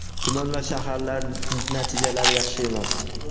tuman va shaharlar natijalari yaxshi emas.